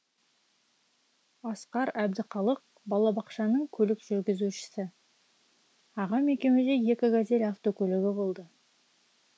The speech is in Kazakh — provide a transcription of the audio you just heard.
асқар әбдіқалық балабақшаның көлік жүргізушісі ағам екеумізде екі газель автокөлігі болды